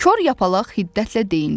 Kor Yapaq hiddətlə deyinirdi.